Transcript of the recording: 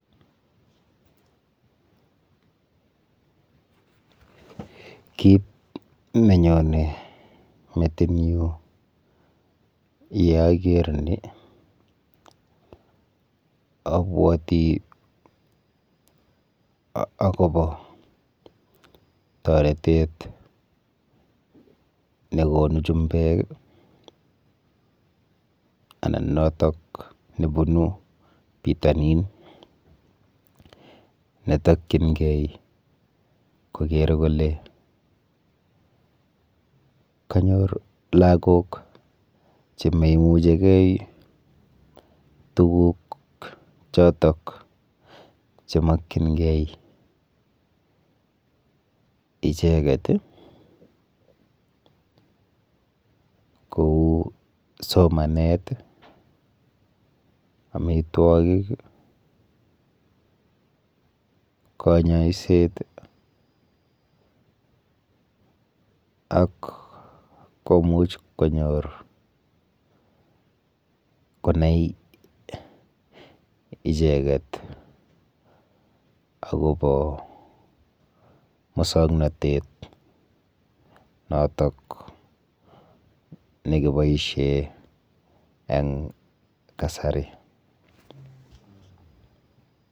Kit nenyone metinyu yeaker ni abwoti akopo toretet nekonu chumbek anan notok nebunu pitonin netokchingei koker kole kanyor lagok chememuchigei tuguk chotok chemokchingei icheket kou somanet, amitwokik, kanyoiset ak komuch konyor konai icheket akopo mosoknotet notok nekiboishe eng kasari.